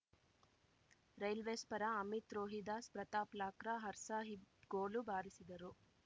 railways ಪರ Amit Rohidas Pratap Lakra Harsahib goal ಬಾರಿಸಿದರು